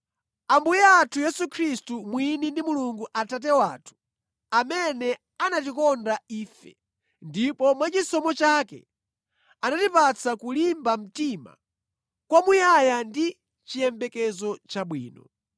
Ambuye athu Yesu Khristu mwini ndi Mulungu Atate wathu, amene anatikonda ife ndipo mwachisomo chake anatipatsa kulimba mtima kwamuyaya ndi chiyembekezo chabwino,